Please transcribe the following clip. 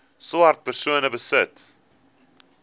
swart persone besit